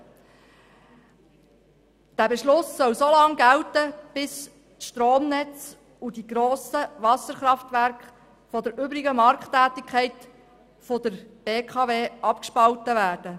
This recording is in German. Der Beschluss soll so lange gelten, bis die Stromnetze und die grossen Wasserkraftwerke von der übrigen Markttätigkeit der BKW abgespalten werden.